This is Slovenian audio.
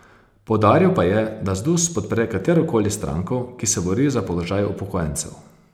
Poudaril pa je, da Zdus podpre katerokoli stranko, ki se bori za položaj upokojencev.